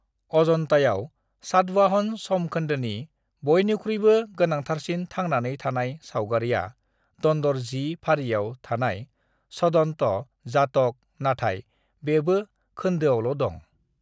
"अजन्तायाव सातवाहन समखोन्दोनि बयनिख्रुइबो गोनांथारसिन थांनानै थानाय सावगारिआ दन्दर 10 फारिआव थानाय छदन्त जातक, नाथाय बेबो खोन्दोआवल' दं।"